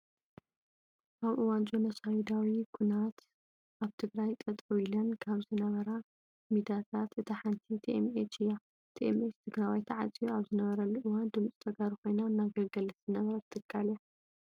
ኣብ እዋን ጆኖሶይዳዊ ኩናት ኣብ ትግራይ ጠጠው ኢለን ካብ ዝነበራ ሚዳታት እታ ሓንቲ ቲኤምኤች እያ። ቲኤምኤች ትግራዋይ ተዓፅዩ ኣብ ዝነበረሉ እዋን ድምፂ ተጋሩ ኾይና እናገልገለት ዝነበረት ትካል እያ።